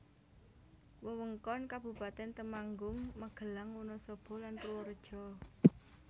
Wewengkon Kabupatèn Temanggung Magelang Wonosobo lan Purworejo